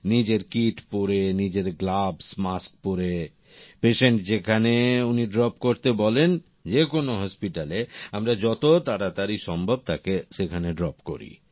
নিজের কিট পরে নিজের গ্লাভস মাস্ক পরে পেশেন্ট যেখানে উনি ড্রপ করতে বলেন যেকোনো হসপিটালে আমরা যত তাড়াতাড়ি সম্ভব তাকে সেখানে ড্রপ করি